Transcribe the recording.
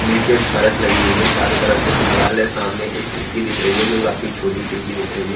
नीचे फरश लगी हुई है। चारों तरफ से दीवाल है सामने एक खिड़की दिख रही है जो काफी छोटी खिड़की दिख रही है।